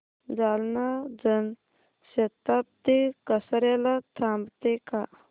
जालना जन शताब्दी कसार्याला थांबते का